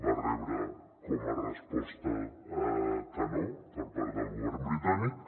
va rebre com a resposta que no per part del govern britànic